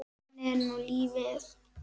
Þannig er nú lífið.